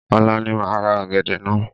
Ọ̀la ni máa ra ọ̀gẹ̀dẹ̀ naa